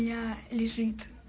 я лежит